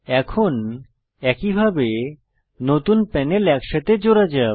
এখন একই ভাবে নতুন প্যানেল একসাথে জোড়া যাক